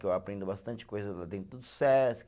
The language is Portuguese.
Que eu aprendo bastante coisa lá dentro do Sesc.